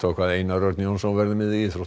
hvað Einar Örn Jónsson verður með í íþróttum